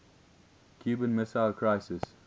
cuban missile crisis